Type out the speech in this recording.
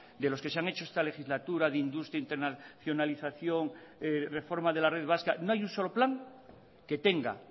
de los que se han hecho esta legislatura de industria internacionalización reforma de la red vasca no hay un solo plan que tenga